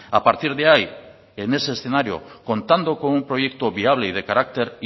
a partir de ahí en ese escenario contando con un proyecto viable y de carácter